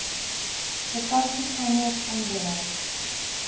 vakansiegangersinwoners